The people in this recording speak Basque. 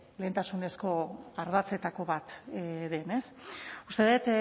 lehentasunezko ardatzetako bat den ez uste dut